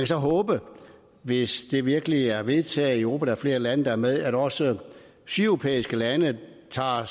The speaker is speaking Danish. så håbe hvis det virkelig er vedtaget i europa og flere lande er med at også sydeuropæiske lande tager